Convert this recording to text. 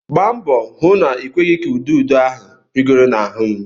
Gba mbọ hụ na-ịkweghị ka ududo ahụ rịgoro n'ahụ m!